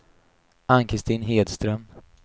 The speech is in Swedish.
Ann-Christin Hedström